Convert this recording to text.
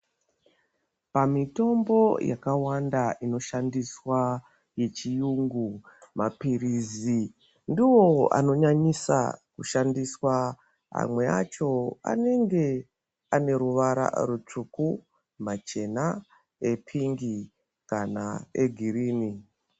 Pamitombo yakawanda inoshandiswa yechirungu mapirizi ndiwo anonyanyiswa kushandiswa amwe acho anenge ane ruvara rutsvuku machena epingi kana egirini.